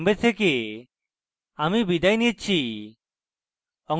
I I T Bombay থেকে amal বিদায় নিচ্ছি